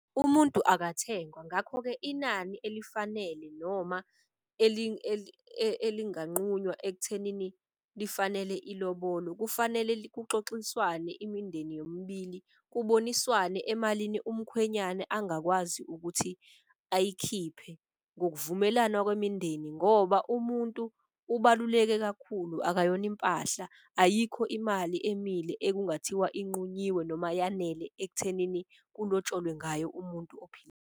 Umuntu akathengwa ngakho-ke inani elifanele noma elinganqunywa ekuthenini lifanele ilobolo kufanele kuxoxiswane imindeni yomibili. Kuboniswane emalini umkhwenyana angakwazi ukuthi ayikhiphe ngokuvumelana kwemindeni. Ngoba umuntu ubaluleke kakhulu akayona impahla. Ayikho imali emile ekungathiwa inqunyiwe noma yanele ekuthenini kulotsholwe ngayo umuntu .